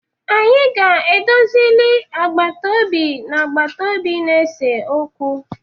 Anyi ga-edozili agbatobi na-agbatobi na-ese okwu.